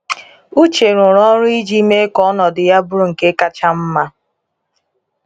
Uche rụrụ ọrụ iji mee ka ọnọdụ ya bụrụ nke kacha mma.